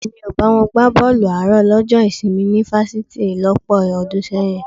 Èmi ò bá wọn gbá bọ́ọ̀lù àárọ̀ lọ́jọ́ ìsinmi ní fásitì lọ́pọ̀ ọdún sẹ́yìn